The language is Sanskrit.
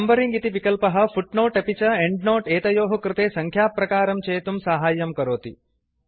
नंबरिंग इति विकल्पः फुट्नोट् अपि च एंड्नोट् एतयोः कृते सङ्ख्याप्रकारं चेतुं साहाय्यं करोति